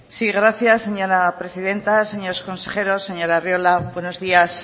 sí gracias señora presidenta señores consejeros señor arriola buenos días